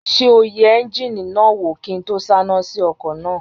Ṣé o yẹ éúnjínì náà wò kí n tó sáná sí ọkọ̀ náà?